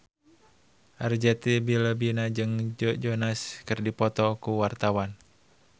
Arzetti Bilbina jeung Joe Jonas keur dipoto ku wartawan